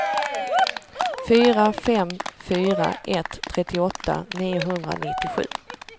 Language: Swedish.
fyra fem fyra ett trettioåtta niohundranittiosju